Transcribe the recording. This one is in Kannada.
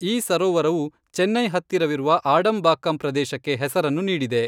ಈ ಸರೋವರವು ಚೆನ್ನೈ ಹತ್ತಿರವಿರುವ ಆಡಂಬಾಕ್ಕಂ ಪ್ರದೇಶಕ್ಕೆ ಹೆಸರನ್ನು ನೀಡಿದೆ.